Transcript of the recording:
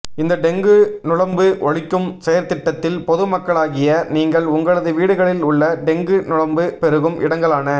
இந்த டெங்கு நுளம்பு ஒழிக்கும் செயற்திட்டத்தில் பொது மக்களாகிய நீங்கள் உங்களது வீடுகளில் உள்ள டெங்கு நுளம்பு பெருகும் இடங்களான